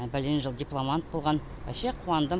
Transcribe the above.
бәлен жыл дипломант болған ваще қуандым